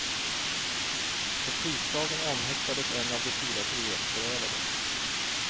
På tisdagen omhäktades en av de fyra frihetsberövade.